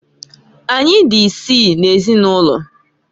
Anyị dị isii n'ezinụlọ.